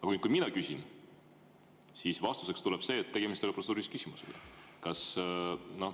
Aga kui mina küsin, siis vastuseks tuleb, et tegemist ei ole protseduurilise küsimusega.